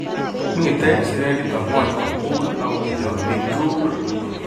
Mitei sirek chutok ng'ony komugul ak komitei ak biik tugul